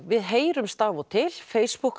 við heyrumst af og til Facebook